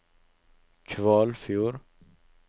Kvalfjord